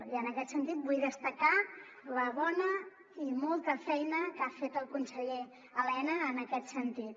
i en aquest sentit vull destacar la bona i molta feina que ha fet el conseller elena en aquest sentit